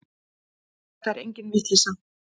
Þetta er engin vitleysa.